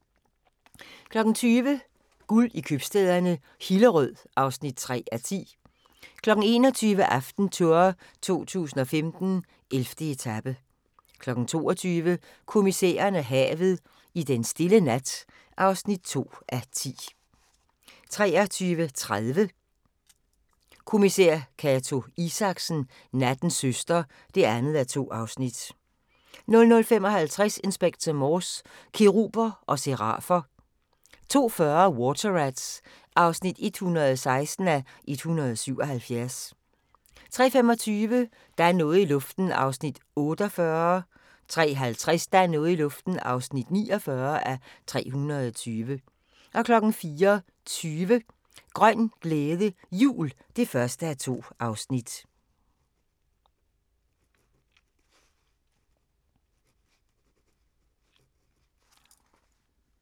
20:00: Guld i købstæderne - Hillerød (3:10) 21:00: AftenTour 2015: 11. etape 22:00: Kommissæren og havet: I denne stille nat (2:10) 23:30: Kommissær Cato Isaksen: Nattens søster (2:2) 00:55: Inspector Morse: Keruber og serafer 02:40: Water Rats (116:177) 03:25: Der er noget i luften (48:320) 03:50: Der er noget i luften (49:320) 04:20: Grøn glæde, jul (1:2)